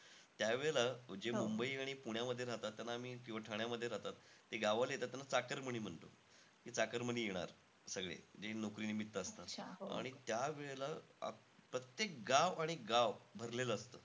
त्यावेळेला, जे मुंबई आणि पुण्यामध्ये राहतात त्यांना आम्ही, किंवा ठाण्यामध्ये राहतात, ते गाववाले येतात त्यांना चाकरमनी म्हणतो. की चाकरमनी येणार सगळे. जे नोकरीनिम्मित असतात. आणि त्यावेळेला प्रत्येक गाव आणि गाव, भरलेलं असतं.